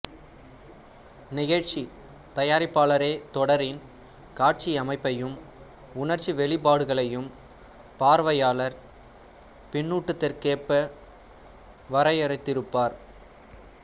நிகழ்ச்சித் தயாரிப்பாளரே தொடரின் காட்சியமைப்பையும் உணர்ச்சி வெளிப்பாடுகளையும் பார்வையாளர் பின்னூட்டத்திற்கொப்ப வரையறுத்திருப்பார்